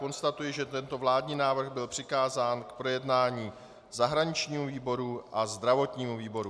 Konstatuji, že tento vládní návrh byl přikázán k projednání zahraničnímu výboru a zdravotnímu výboru.